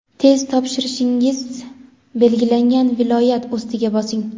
Test topshirishingiz belgilangan viloyat ustiga bosing:.